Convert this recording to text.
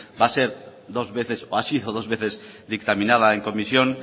va a ser dos veces o ha sido dos veces dictaminada en comisión